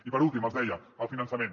i per últim els deia el finançament